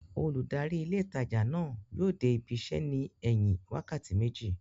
Olùdarí ilé ìtajà náà yóò dé ibi isẹ́ ní ẹ̀yìn wákàtí méjì